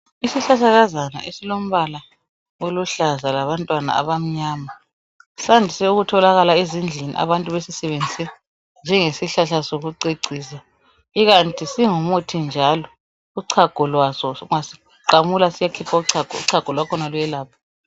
Isihlahlakazana esilombala oluhlaza labantwana abamnyama sandise ukutholakala ezindlini abantu besisebenzise njengesi hlahla soku cecisa ikanti singu muthi njalo uchago lwaso, ungasiqamula siyakhipha uchago, uchago lwakhona luyelapha.